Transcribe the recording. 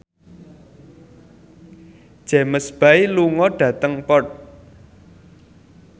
James Bay lunga dhateng Perth